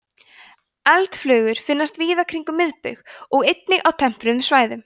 eldflugur finnast víða kringum miðbaug og einnig á tempruðum svæðum